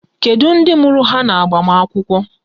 Kedu ndị mụrụ ha n'agbamakwụkwọ?